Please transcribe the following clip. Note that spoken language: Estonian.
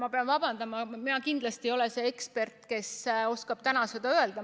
Ma pean vabandama, ma kindlasti ei ole see ekspert, kes oskaks seda öelda.